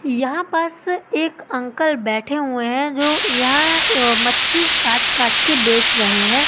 यहां पास एक अंकल बैठे हुए हैं जो यह मछली काट काट के बेच रहे हैं।